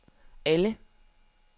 alle